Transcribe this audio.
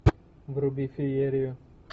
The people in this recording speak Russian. вруби феерию